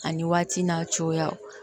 Ani waati n'a cogoya